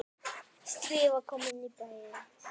Stríðið var komið í bæinn!